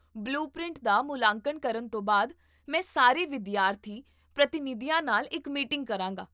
blue print ਦਾ ਮੁਲਾਂਕਣ ਕਰਨ ਤੋਂ ਬਾਅਦ ਮੈਂ ਸਾਰੇ ਵਿਦਿਆਰਥੀ ਪ੍ਰਤੀਨਿਧੀਆਂ ਨਾਲ ਇੱਕ ਮੀਟਿੰਗ ਕਰਾਂਗਾ